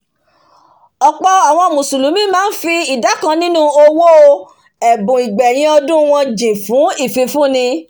òpò mùsùlùmí máá n fi ìdá kan nínu owò ẹ̀bùn ìgbẹ̀yìn ọdún wọn jìn fùn ìfifúni